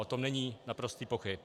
O tom není naprostých pochyb.